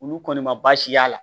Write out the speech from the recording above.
Olu kɔni ma baasi y'a la